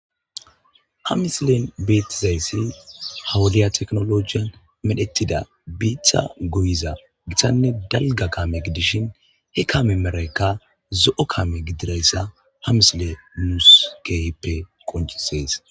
ha misilen beetizayssi hawuliya teknolojiyan medhetida biitha goyiza githanne dalga kaame gidishin he kame meraykka zo7o kaame gidirayssa ha misile muuuskeyppe qoncisees